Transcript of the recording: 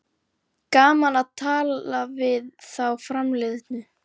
Gaman að tala við þá framliðnu